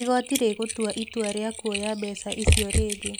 Igoti rĩgītua itua rīa kuoya mbeca icio rĩngĩ